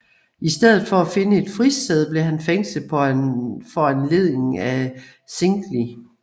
I stedet for at finde et fristed blev han fængslet på foranledning af Zwingli